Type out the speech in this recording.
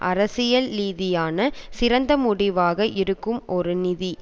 அரசியல்ரீதியான சிறந்த முடிவாக இருக்கும் ஒரு நிதி